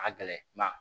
A ka gɛlɛn